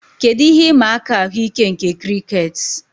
Kedu ihe ịma aka ahụike nke crickets